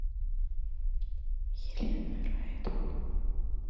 елена райтман